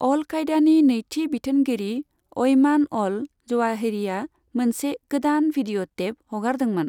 अल कायदानि नैथि बिथोनगिरि अयमान अल जवाहिरीआ मोनसे गोदान भिडिअ' टेप हगारदोंमोन।